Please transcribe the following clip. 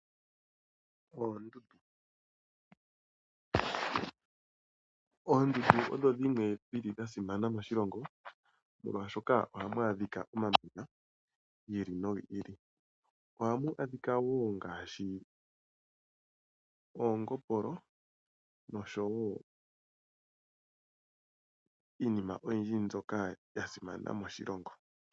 Oondundu Oondundu odho dhimwe dha simana moshilongo, molwashoka ohamu adhika omamanya gi ili nogi ili. Ohamu adhika wo ngaashi oongopolo noshowo iinima oyindji mbyoka ya simana moshilongo.